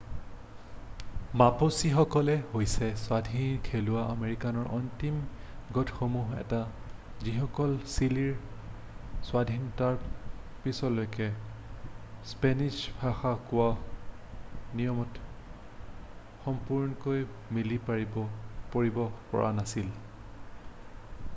মাপুচিসকলো হৈছে স্বাধীন থলুৱা আমেৰিকানৰ অন্তিম গোটসমূহৰ এটা যিসকলে চিলিৰ স্বাধীনতাৰ পিছলৈকে স্পেনিশ্ব ভাষা কোৱা নিয়মত সম্পূৰ্ণকৈ মিলি পৰিব পৰা নাছিল